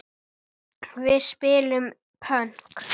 Við spilum pönk!